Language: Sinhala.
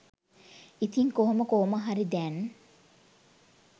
ඉතින් කොහොම කොහොමහරි දැන්